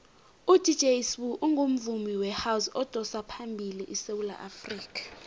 udj sbu ungumvumi wehouse odosaphambili esewula afrikha